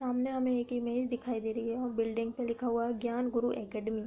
सामने हमें एक इमेज दिखाई दे रही है और बिल्डिंग पे लिखा हुआ है ज्ञान गुरु एकेडमी ।